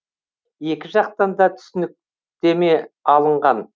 екі жақтан да түсініктеме алынған